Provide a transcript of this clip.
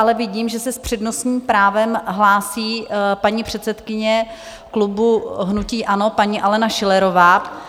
Ale vidím, že se s přednostním právem hlásí paní předsedkyně klubu hnutí ANO, paní Alena Schillerová.